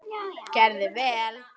Gerði vel.